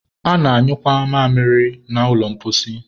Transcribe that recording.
a na-anyụkwa mamịrị na ụlọ mposi